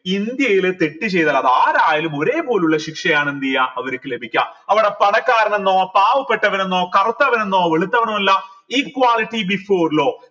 ഇന്ത്യയിൽ തെറ്റ് ചെയ്ത അത് ആരായാലും ഒരേ പോലുള്ള ശിക്ഷയാണ് എന്തേയ അവരിക്ക് ലഭിക്കാ അവർ പണക്കാരനെന്നോ പാവപ്പെട്ടവനെന്നോ കറുത്തവനെന്നോ വെളുത്തവനുമല്ല equality before law